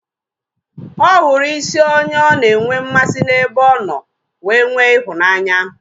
Ọ hụrụ isi onye ọ na enwe mmasị n'ebe ọ nọ wee nwee ịhụnanya